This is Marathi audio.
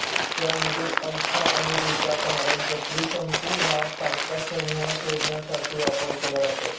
त्यामधील अल्फा आणि बीटा ताऱ्यांचा त्रिशंकू हा तारकासमूह शोधण्यासाठी वापर केला जातो